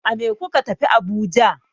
A me kuka tafi Abuja?